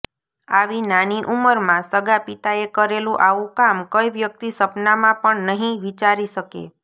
આવી નાની ઉંમરમાં સગા પિતાએ કરેલું આવું કામ કઈ વ્યક્તિ સપનામાં પણ નહિ વિચારી શકે